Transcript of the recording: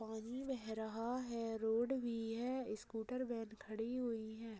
पानी बह रहा हैरोड भी है स्कूटर वैन खड़ी हुई है।